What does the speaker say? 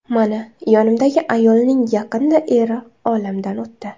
Mana yonimdagi ayolning yaqinda eri olamdan o‘tdi.